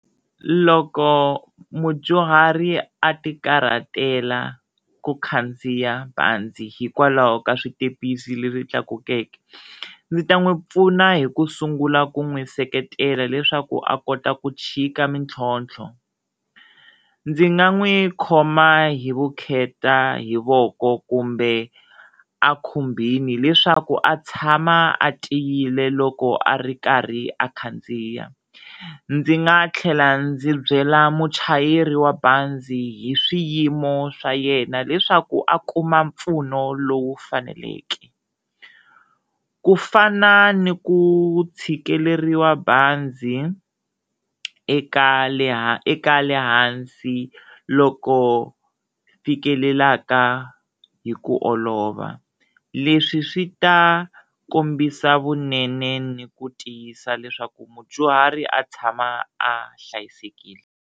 Loko mudyuhari a ti karhatela ku khandziya banzi hikwalaho ka switepisi leswi tlakukeke, ndzi ta n'wi pfuna hi ku sungula ku n'wi seketela leswaku a kota ku chika mitlhontlho, ndzi nga n'wi khoma hi vukheta hi voko kumbe a khumbini leswaku a tshama a tiyile loko a ri karhi a khandziya, ndzi nga tlhela ndzi byela muchayeri wa banzi hi swiyimo swa yena leswaku a kuma mpfuno lowu faneleke, ku fana ni ku tshikeleriwa banzi eka le hansi loko fikelelaka hi ku olova, leswi swi ta kombisa vunene ni ku tiyisa leswaku mudyuhari a tshama a hlayisekile.